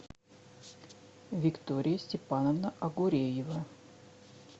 виктория степановна огуреева